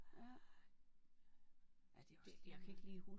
Ja. Ja det er også lige meget